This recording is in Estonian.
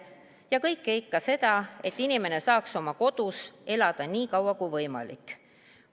Ja kõike ikka selleks, et inimene saaks oma kodus elada nii kaua kui võimalik.